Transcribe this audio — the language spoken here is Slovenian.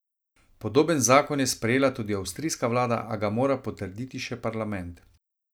Podoben zakon je sprejela tudi avstrijska vlada, a ga mora potrditi še parlament.